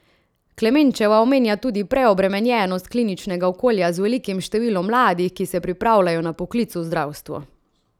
Klemenčeva omenja tudi preobremenjenost kliničnega okolja z velikim številom mladih, ki se pripravljajo na poklic v zdravstvu.